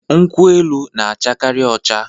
nkwu-elu n'acha Kari ocha